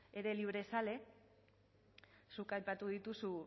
librezaleak zuk aipatu dituzu